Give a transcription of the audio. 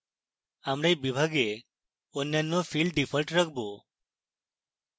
আমরা we বিভাগে অন্যান্য fields ডিফল্ট রাখবো